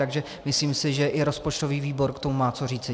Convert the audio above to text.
Takže si myslím, že i rozpočtový výbor k tomu má co říci.